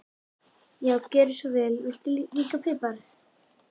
Já, gjörðu svo vel. Viltu pipar líka?